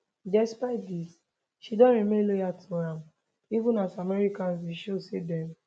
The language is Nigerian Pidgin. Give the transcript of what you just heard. despite dis she don remain loyal to am even as americans don show say dem